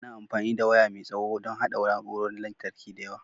Ana amfani da waya mai tsawo don haɗa na'urorin lantarki da yawa.